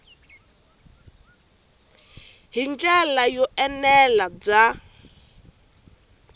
hi ndlela yo enela bya